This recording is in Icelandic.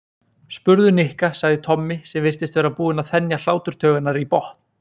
Spurðu Nikka sagði Tommi sem virtist vera búinn að þenja hláturtaugarnar í botn.